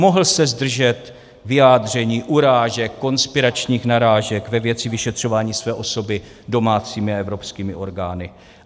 Mohl se zdržet vyjádření, urážek, konspiračních narážek ve věci vyšetřování své osoby domácími a evropskými orgány.